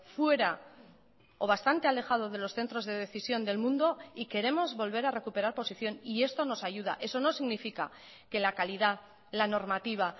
fuera o bastante alejado de los centros de decisión del mundo y queremos volver a recuperar posición y esto nos ayuda eso no significa que la calidad la normativa